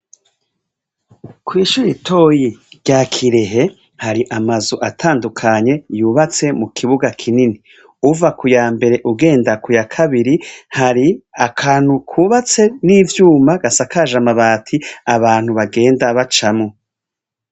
Kw'ishure ritoyi rya Kirehe, hari amazu atandukanye yubatse mu kibuga kinini. Uva ku ya mbere ugenda kubya kabiri, hari akantu kubatse n'ivyuma, gasakaje amabati abantu bagenda bacamwo.